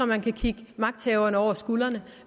man kan kigge magthaverne over skuldrene